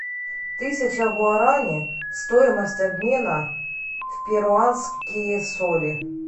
тысяча гуарани стоимость обмена в перуанские соли